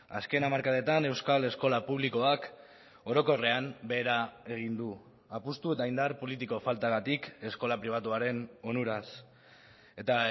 azken hamarkadetan euskal eskola publikoak orokorrean behera egin du apustu eta indar politiko faltagatik eskola pribatuaren onuraz eta